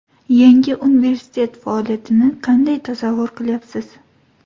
Yangi universitet faoliyatini kanday tasavvur qilyapsiz?